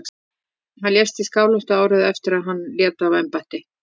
Hann lést í Skálholti árið eftir að hann lét af embætti.